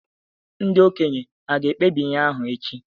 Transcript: Ndị okenye hà ga-ekpebi ihe ahụ echi?